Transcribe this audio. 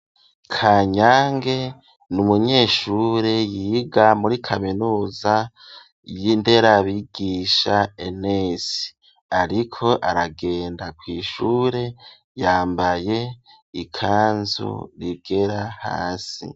Kanyange n'umunyeshure yiga muri kaminuza y'inderabigisha ENS ariko aragenda kw'ishure yambaye ikanzu igera hasi.